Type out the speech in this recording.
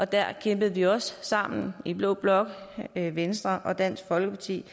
der kæmpede vi også sammen i blå blok venstre og dansk folkeparti